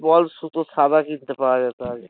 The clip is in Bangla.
ওয়াল সুতো সাদা কিনতে পাওয়া যেত আগে